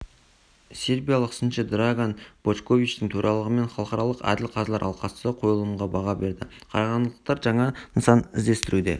сербиялық сыншы драган бошковичтің төрағалығымен халықаралық әділ қазылар алқасы қойылымға баға берді қарағандылықтар жаңа нысан ізденісінде